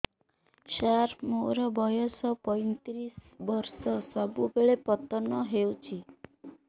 ସାର ମୋର ବୟସ ପୈତିରିଶ ବର୍ଷ ସବୁବେଳେ ପତନ ହେଉଛି